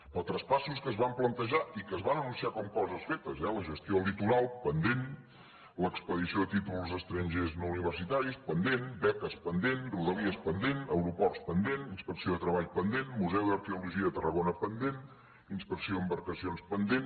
però traspassos que es van plantejar i que es van anunciar com a coses fetes eh la gestió del litoral pendent l’expedició de títols estrangers no universitaris pendent beques pendent rodalies pendent aeroports pendent inspecció de treball pendent museu d’arqueologia de tarragona pendent inspecció d’embarcacions pendent